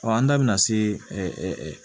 an da bɛna se